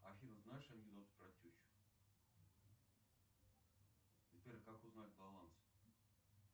афина знаешь анекдоты про тещу сбер как узнать баланс